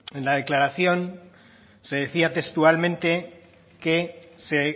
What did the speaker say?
en la declaración se decía textualmente que se